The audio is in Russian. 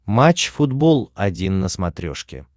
матч футбол один на смотрешке